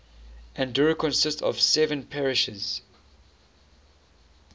andorra consists of seven parishes